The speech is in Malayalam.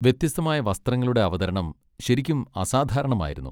വ്യത്യസ്തമായ വസ്ത്രങ്ങളുടെ അവതരണം ശരിക്കും അസാധാരണമായിരുന്നു.